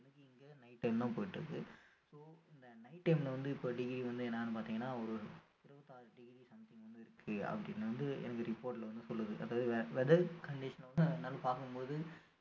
night time தான் போயிட்டு இருக்கு so இந்த night ல வந்து இப்போ degree வந்து என்னன்னு பார்த்தீங்கன்னா ஒரு இருபத்து ஆறு degree something அப்படின்னு வந்து எனக்கு report ல வந்து சொல்லுது அதாவது weather condition வந்து என்னன்னு பார்க்கும் போது